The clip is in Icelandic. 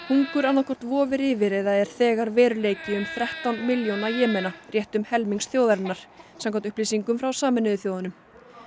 hungur annað hvort vofir yfir eða er þegar veruleiki um þrettán milljóna rétt um helmings þjóðarinnar samkvæmt upplýsingum frá Sameinuðu þjóðunum